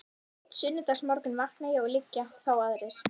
Einn sunnudagsmorgun vakna ég og liggja þá aðrir